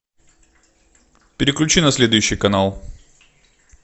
переключи на следующий канал